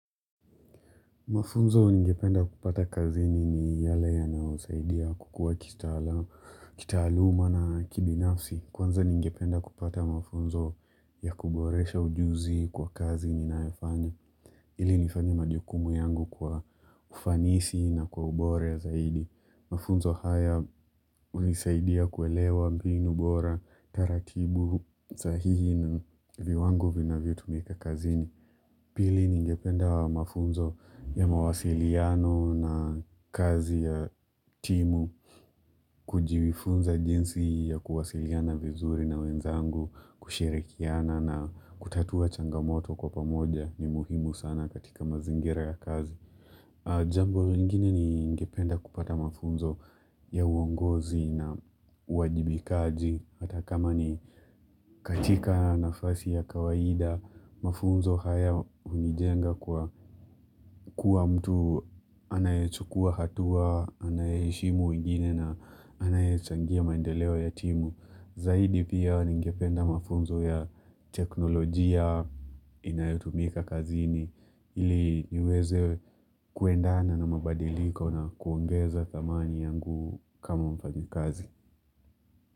Mafunzo ningependa kupata kazini ni yale yanayosaidia kukua kitaaluma na kibinafsi. Kwanza ningependa kupata mafunzo ya kuboresha ujuzi kwa kazi ninayofanya. Ili nifanye majukumu yangu kwa ufanisi na kwa ubora zaidi. Mafunzo haya hunisaidia kuelewa mbinu bora, taratibu sahihi na viwango vinavyotumika kazini. Pili ningependa mafunzo ya mawasiliano na kazi ya timu. Kujifunza jinsi ya kuwasiliana vizuri na wenzangu, kushirikiana na kutatua changamoto kwa pamoja ni muhimu sana katika mazingira ya kazi. Jambo ingine ni ningependa kupata mafunzo ya uongozi na uwajibikaji, hata kama ni katika nafasi ya kawaida, mafunzo haya hunijenga kwa kuwa mtu anayechukua hatua, anayeheshimu wengine na anayechangia maendeleo ya timu. Zaidi pia ningependa mafunzo ya teknolojia inayotumika kazini ili niweze kuendana na mabadilika na kuongeza dhamani yangu kama mfanyikazi.